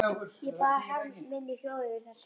Ég bar harm minn í hljóði yfir þessu.